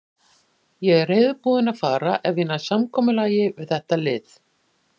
Ég er reiðubúinn að fara ef ég næ samkomulagi við þetta lið.